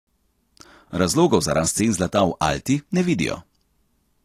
Razlogov za rast cen zlata v Alti ne vidijo.